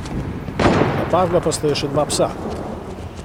Napadla pa sta jo še dva psa.